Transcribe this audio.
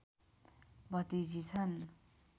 भतिजी छन्